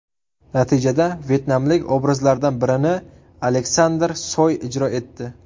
Natijada vyetnamlik obrazlardan birini Aleksandr Soy ijro etdi.